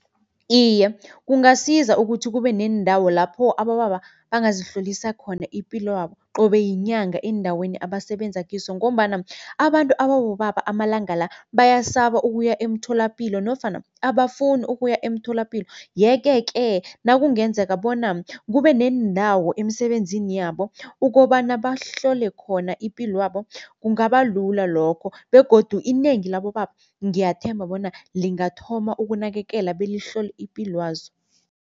Iye, kungasiza ukuthi kube neendawo lapho abobaba bangazihlolisa khona ipilwabo qobe yinyanga eendaweni abasebenza kizo ngombana abantu ababobaba amalanga la bayasaba ukuya emtholapilo nofana abafuni ukuya emtholapilo. Yeke-ke nakungenzeka bona kube neendawo emisebenzini yabo, ukobana bahlole khona ipilwabo kungaba lula lokho begodu inengi labobaba ngiyathemba bona lingathoma ukunakekela belihlole ipilwazo.